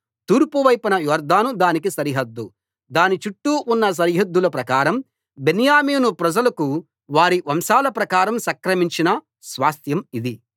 తూర్పు వైపున యొర్దాను దానికి సరిహద్దు దాని చుట్టూ ఉన్న సరిహద్దుల ప్రకారం బెన్యామీను ప్రజలకు వారి వంశాల ప్రకారం సంక్రమించిన స్వాస్థ్యం ఇది